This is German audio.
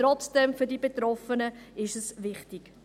Trotzdem, für die Betroffenen ist es wichtig.